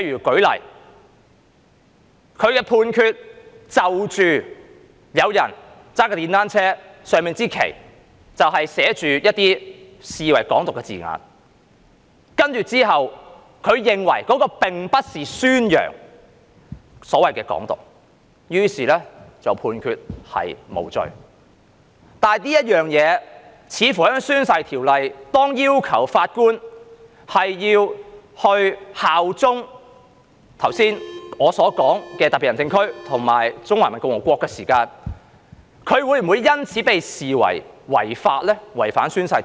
舉例說，有人駕駛電單車時在車上擺放了一支寫上被視為"港獨"字眼的旗幟，如果法官認為那並不是宣揚"港獨"，於是判決無罪時，就這一點，似乎在《條例》下，當要求法官效忠特別行政區及中華人民共和國時，他會否因此被視為違反《條例》呢？